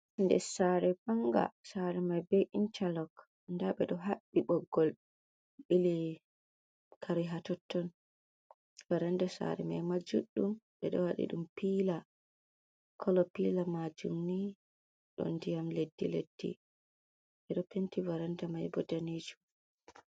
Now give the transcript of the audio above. Ɗer sare manga, sare mai beɗo intalok. Ɗa bedo habbi boggol bili kare hatotton. Varanda saare mai ma juddum. beɗo wadi dum pila, kolo pila majum ni do diyam leddi-leddi beɗo penti varanda mai bo ɗaneejum.